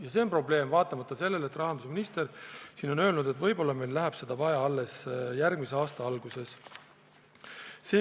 Ja see on probleem vaatamata sellele, et rahandusminister on siin öelnud, et võib-olla meil läheb seda vaja alles järgmise aasta alguses.